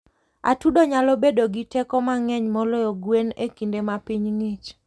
Atudo nyalo bedo gi teko mang'eny moloyo gwen e kinde ma piny ng'ich.